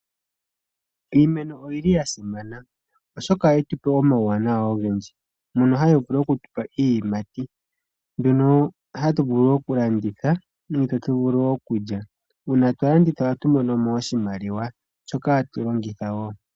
Iimeno oyi li ya simana oshoka oha yi tupe omauwanawa ogendji, mono hayi vulu okutupa iiyimati mbyono hatu vulu okulanditha nenge tatu vulu okulya, uuna twa landitha oha tu monomo oshimaliwa shoka hatu longitha wo.